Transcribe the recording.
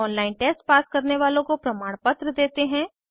online test pass करने वालोँ को प्रमाणपत्र देते हैं